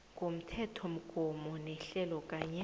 komthethomgomo nehlelo kanye